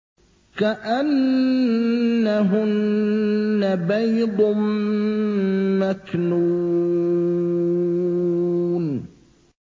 كَأَنَّهُنَّ بَيْضٌ مَّكْنُونٌ